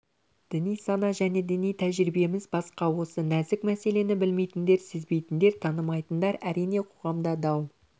діни сана және діни тәжірибеміз басқа осы нәзік мәселені білмейтіндер сезбейтіндер танымайтындар әрине қоғамда дау